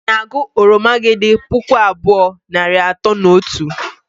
Ị na-agụ oromo gị dị puku abụọ, nari atọ na otu?.